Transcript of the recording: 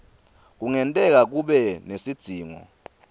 kungenteka kube nesidzingo